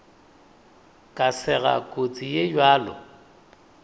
ka sega kotsi ye bjalo